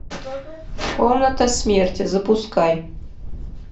комната смерти запускай